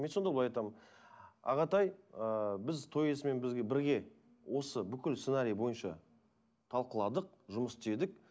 мен сонда былай айтамын ағатай ыыы біз той иесімен бірге осы бүкіл сценарий бойынша талқыладық жұмыс істедік